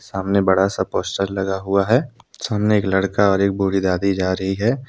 सामने बड़ा सा पोस्टर लगा हुआ है सामने एक लड़का और एक बूढ़ी दादी जा रही है।